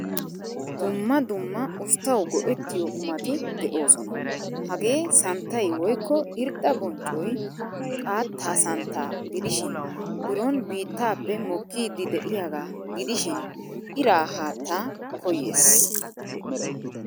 Dumma dumma usttawu go'ettiyo qumati deosona. Hagee santtay woykko irxxa bonccoy xaatta santta gidishin biron biittappe mokkiddi deiyaga gidishin ira haattaa koyyees.